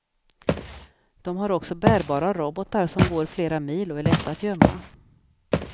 De har också bärbara robotar som går flera mil och är lätta att gömma.